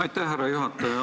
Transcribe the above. Aitäh, härra juhataja!